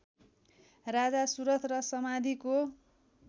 राजा सुरथ र समाधिको